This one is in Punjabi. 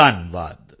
ਧੰਨਵਾਦ